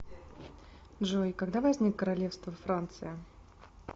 джой когда возник королевство франция